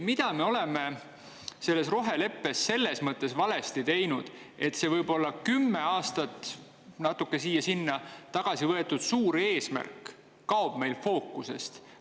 Mida me oleme selle roheleppe puhul valesti teinud, et see kümme aastat tagasi ‒ siia-sinna ‒ võetud suur eesmärk kaob meil fookusest?